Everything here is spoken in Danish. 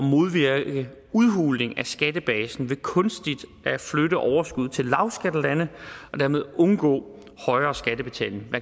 modvirke udhuling af skattebasen ved kunstigt at flytte overskud til lavskattelande og dermed undgå højere skattebetaling